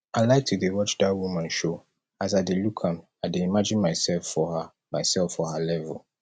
i like to dey watch dat woman show as i dey look am i dey imagine myself for her myself for her level